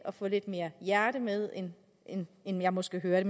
at få lidt mere hjerte med end end jeg måske hører